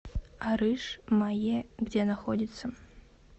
арыш мае где находится